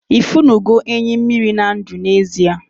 ifunugo enyi mmiri na ndu n'ezie?